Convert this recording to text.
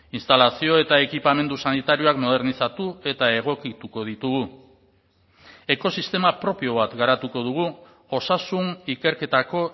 instalazio eta ekipamendu sanitarioak modernizatu eta egokituko ditugu ekosistema propio bat garatuko dugu osasun ikerketako